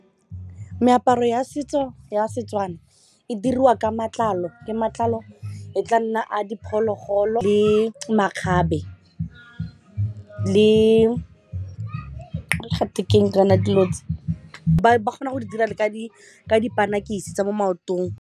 Meaparo ya setso ya Setswana e diriwa ka matlalo ke matlalo e tla nna a diphologolo le makgabe le gate keng kana dilo tse ba kgona go di dira le mo maotong.